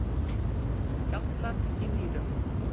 gallar í nýrum